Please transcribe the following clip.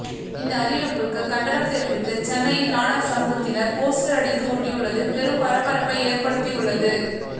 இந்த அறிவிப்புக்கு கண்டனம் தெரிவித்து சென்னையில் நாடார் சமூகத்தினர் போஸ்டர் அடித்து ஒட்டி உள்ளது பெரும் பரபரப்பை ஏற்படுத்தி உள்ளது